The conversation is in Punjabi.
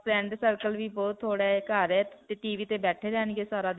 friend circle ਵੀ ਬਹੁਤ ਥੋੜਾ ਹੈ. ਘਰ ਹੈ TV ਤੇ ਬੈਠੇ ਰਹਿਣਗੇ ਸਾਰਾ